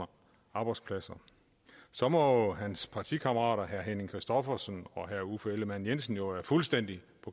arbejdspladser så må hans partikammerater herre henning christophersen og herre uffe ellemann jensen jo fuldstændig